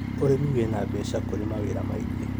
ũrĩmi wĩna mbeca kũrĩ mawĩra maingĩ